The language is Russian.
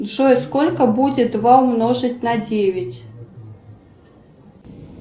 джой сколько будет два умножить на девять